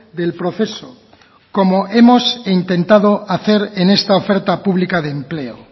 del proceso como hemos intentado hacer en esta oferta pública de empleo